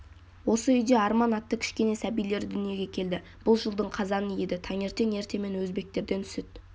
осы үйде арман атты кішкене сәбилері дүниеге келді бұл жылдың қазаны еді таңертең ертемен өзбектерден сүт